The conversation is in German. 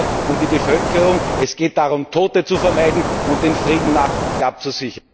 Es geht hier um die Bevölkerung, es geht darum, Tote zu vermeiden und den Frieden abzusichern.